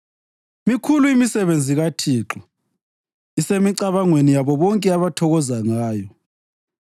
Mikhulu imisebenzi kaThixo; isemicabangweni yabo bonke abathokoza ngayo.